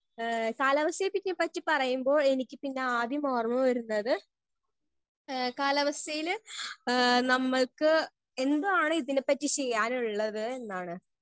Speaker 1 ഏ കാലാവസ്ഥയെ പിന്നെ പറ്റി പറയുമ്പോൾ എനിക്ക് പിന്നെ ആദ്യം ഓർമ വരുന്നത് ഏ കാലാവസ്ഥയില് ആ നമ്മൾക്ക് എന്തോ ആണ് ഇതിനെ പറ്റി ചെയ്യാനുള്ളത് എന്നാണ്.